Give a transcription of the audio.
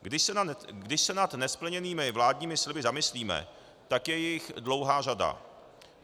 Když se nad nesplněnými vládními sliby zamyslíme, tak je jich dlouhá řada.